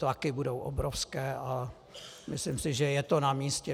Tlaky budou obrovské a myslím si, že je to namístě.